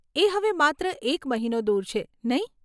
એ હવે માત્ર એક મહિનો દૂર છે, નહીં?